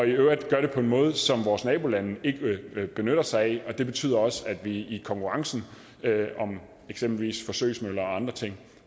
i øvrigt gør det på en måde som vores nabolande ikke benytter sig af og det betyder også at vi i konkurrencen om eksempelvis forsøgsmøller og andre ting